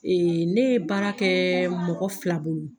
ne ye baara kɛ mɔgɔ fila bolo.